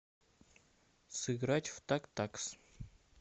сыграть в тактакс